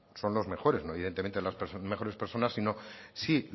son los mejores no evidentemente las mejores personas sino sí